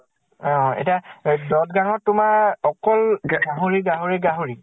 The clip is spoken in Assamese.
অ এতিয়া দদ্গানত তোমাৰ অকল গাহৰী গাহৰী গাহৰী।